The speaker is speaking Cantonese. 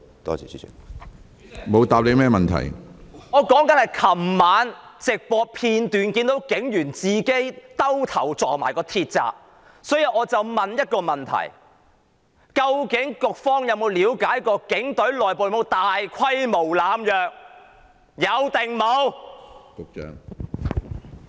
主席，我說的是我昨晚從直播片段看到有警員自己撞向鐵閘，所以我要問一個問題：究竟局方有否了解警隊內部有否大規模濫藥？